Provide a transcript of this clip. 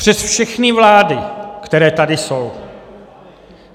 Přes všechny vlády, které tady jsou.